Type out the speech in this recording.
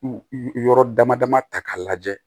Yɔrɔ dama dama ta k'a lajɛ